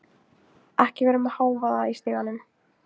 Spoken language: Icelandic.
Ekki vera með hávaða í stiganum.